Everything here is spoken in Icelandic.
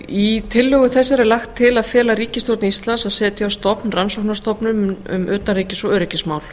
í tillögu þessari er lagt til að fela ríkisstjórn íslands að setja á stofn rannsóknarstofnun um utanríkis og öryggismál